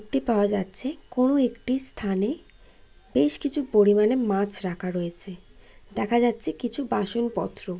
টি পাওয়া যাচ্ছে কোন একটি স্থানে বেশ কিছু পরিমাণে মাছ রাখা রয়েছে। দেখা যাচ্ছে কিছু বাসনপত্র।